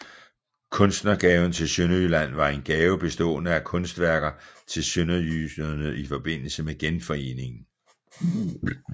Kunstnergaven til Sønderjylland var en gave bestående af kunstværker til sønderjyderne i forbindelse med Genforeningen